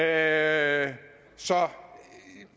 andet så